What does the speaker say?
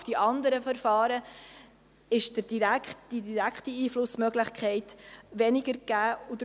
Auf die anderen Verfahren ist die direkte Einflussmöglichkeit weniger gegeben.